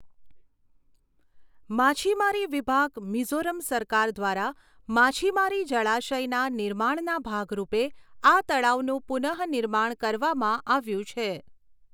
માછીમારી વિભાગ, મિઝોરમ સરકાર દ્વારા માછીમારી જળાશયના નિર્માણના ભાગ રૂપે આ તળાવનું પુનઃનિર્માણ કરવામાં આવ્યું છે.